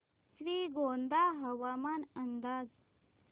श्रीगोंदा हवामान अंदाज